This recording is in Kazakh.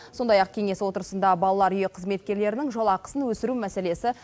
сондай ақ кеңес отырысында балалар үйі қызметкерлерінің жалақысын өсіру мәселесі